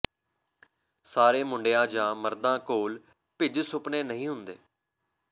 ਸਾਰੇ ਮੁੰਡਿਆਂ ਜਾਂ ਮਰਦਾਂ ਕੋਲ ਭਿੱਜ ਸੁਪਨੇ ਨਹੀਂ ਹੁੰਦੇ